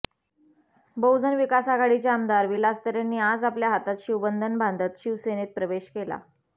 बहुजन विकास आघाडीचे आमदार विलास तरेंनी आज आपल्या हातात शिवबंधन बांधत शिवसेनेत प्रवेश केला